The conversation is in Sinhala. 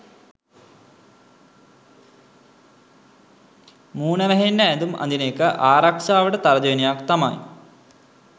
මූණ වැහෙන්න ඇඳුම් අඳින එක ආරක්ෂාවට තර්ජනයක් තමයි